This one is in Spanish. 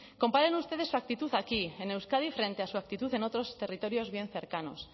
comparen ustedes su actitud aquí en euskadi frente a su actitud en otros territorios bien cercanos